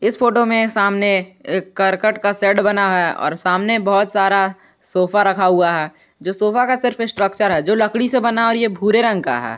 इस फोटो में सामने करकट का सेट बना है और सामने बहुत सारा सोफा रखा हुआ है जो सोफा का सिर्फ स्ट्रक्चर है जो लकड़ी से बना और यह भूरे रंग का है।